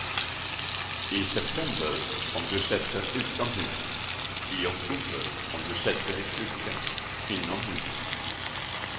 I september om du sätter utomhus, i oktober om du sätter i kruka inomhus.